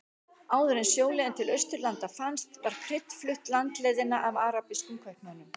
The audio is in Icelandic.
Áður en sjóleiðin til Austurlanda fannst var krydd flutt landleiðina af arabískum kaupmönnum.